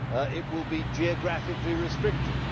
it will be geographically restricted